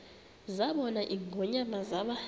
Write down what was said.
zabona ingonyama zaba